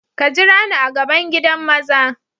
Ka jira ni a gaɓan giɗan maza.